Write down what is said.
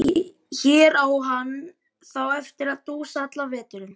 Hér á hann þá eftir að dúsa allan veturinn.